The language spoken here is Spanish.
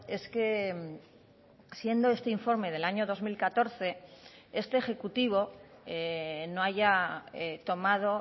es que siendo este informe del año dos mil catorce este ejecutivo no haya tomado